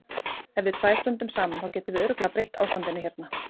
Ef við tvær stöndum saman, þá getum við örugglega breytt ástandinu hérna.